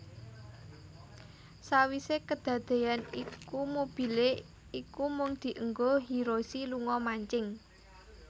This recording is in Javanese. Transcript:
Sawise kedadeyan iku mobile iku mung dienggo Hiroshi lunga mancing